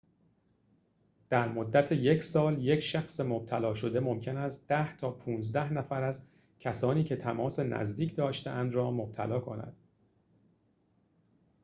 در مدت یک سال ‌یک شخص مبتلا شده ممکن است ۱۰ تا ۱۵ نفر از کسانی که تماس نزدیک داشته‌اند را مبتلا کند